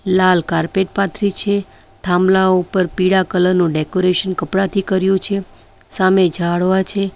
લાલ carpet પાથરી છે થાંભલા ઉપર પીળા કલર નું ડેકોરેશન કપડાથી કર્યું છે સામે ઝાડવા છે.